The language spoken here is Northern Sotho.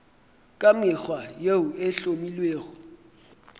ka mekgwa yeo e hlomilwego